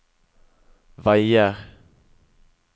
veier